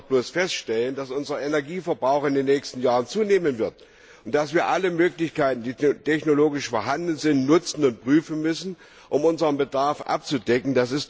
Wir müssen doch bloß feststellen, dass unser Energieverbrauch in den nächsten Jahren zunehmen wird, und dass wir alle Möglichkeiten, die technologisch vorhanden sind, nutzen und prüfen müssen, um unseren Bedarf abzudecken.